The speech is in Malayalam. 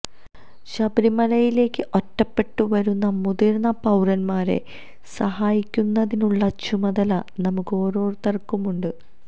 ശബരിമലയിലേക്ക് ഒറ്റപ്പെട്ടു വരുന്ന മുതിര്ന്ന പൌരന്മാരെ സഹായിക്കുന്നതിനുള്ള ചുമതല നമുക്ക് ഓരോരുത്തര്ക്കുമുണ്ട്